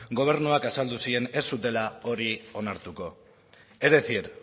gobernuak azaldu zien ez zutela hori onartuko es decir